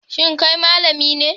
Shin kai malami ne?